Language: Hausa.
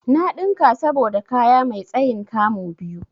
Na ɗinka saboda kaya mai tsayin 'kamu' biyu.